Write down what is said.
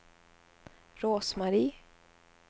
Rose-Marie